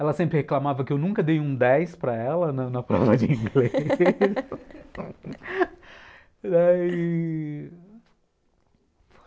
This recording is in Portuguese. Ela sempre reclamava que eu nunca dei um dez para ela na prova de inglês daí...